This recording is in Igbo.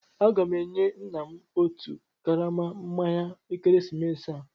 Aga m enye nna m otu karama mmanya ekeresimesi a.